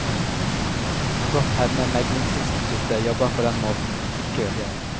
Kan godt hende meglingsinstituttet jobber på den måten, ikke vet jeg.